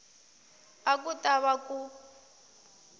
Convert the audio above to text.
a ku ta va ku